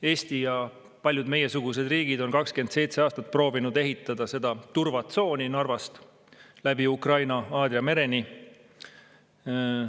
Eesti ja paljud meiesugused riigid on 27 aastat proovinud ehitada turvatsooni Narvast läbi Ukraina Aadria mereni.